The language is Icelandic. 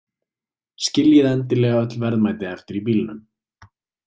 Skiljið endilega öll verðmæti eftir í bílnum.